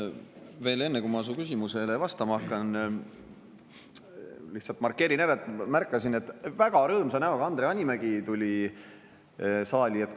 Ma veel enne, kui ma su küsimusele vastama hakkan, lihtsalt markeerin ära, et ma märkasin, et väga rõõmsa näoga Andre Hanimägi tuli saali.